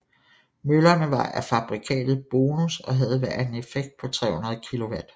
Møllerne var af fabrikatet Bonus og havde hver en effekt på 300 kW